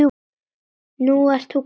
Nú ert þú komin heim.